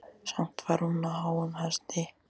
Samt var hún á háum hesti.